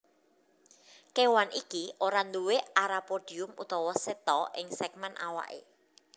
Kéwan iki ora nduwé arapodium utawa seta ing sègmèn awaké